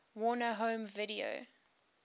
warner home video